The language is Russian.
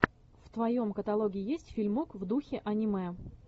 в твоем каталоге есть фильмок в духе аниме